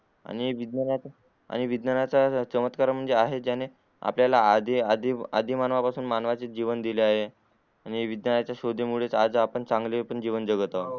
आणि विज्ञानच चमत्कार म्हणजे आहे ज्याने आपल्याला मानव पासून आपल्यला आधी आधी मानवा चे जीवन दिले आहे आणि विज्ञच्या शोधा मुले चा पण आज आपण चांगले पण जीवन जगत आहोत